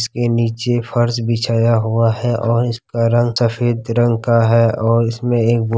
इसके नीचे फर्श बिछाया हुआ है और इसका रंग सफेद रंग का है और इसमें एगो --